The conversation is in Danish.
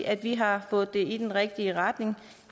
at vi har fået det i den rigtige retning